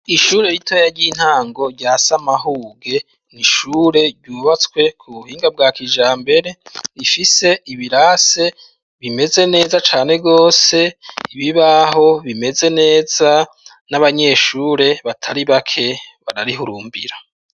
Ishure ritoya ry'intango rya Samahuge ni ishure ryubatswe ku buhinga bwa kijambere, rifise ibirase bimeze neza cane gose, ibibaho bimeze neza n'abanyeshure batari bake bararihurumbira.